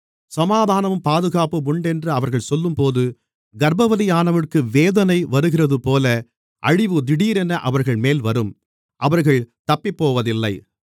சமாதானமும் பாதுகாப்பும் உண்டென்று அவர்கள் சொல்லும்போது கர்ப்பவதியானவளுக்கு வேதனை வருகிறதுபோல அழிவு திடீரென அவர்கள்மேல் வரும் அவர்கள் தப்பிப்போவதில்லை